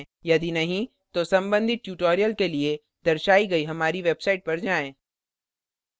यदि नहीं तो संबधित tutorials के लिए दर्शाई गयी हमारी website पर जाएँ